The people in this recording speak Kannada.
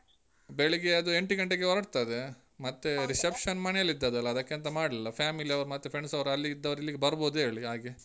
ಬೆಳಿಗ್ಗೆ ಅದು ಎಂಟು ಗಂಟೆಗೆ ಹೊರಡ್ತದೆ. ಮತ್ತೆ reception ಮನೆಯಲ್ಲಿ ಇದ್ದ್ ಅಲ್ಲಾ ಅದಕ್ಕೆಂತ ಮಾಡ್ಲಿಲ್ಲ. family ಅವ್ರ್ ಮತ್ತೇ friends ಅವ್ರ್ ಅಲ್ಲಿ ಇದ್ದವ್ರು ಇಲ್ಲಿಗೆ ಬರ್ಬೋದು ಅಂತ ಹೇಳಿ ಹಾಗೆ.